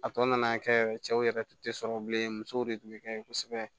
A tɔ nana kɛ cɛw yɛrɛ tun tɛ sɔrɔ bilen musow de tun bɛ kɛ yen kosɛbɛ